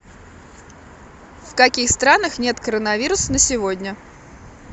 в каких странах нет коронавирус на сегодня